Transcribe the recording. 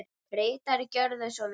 Ritari Gjörðu svo vel.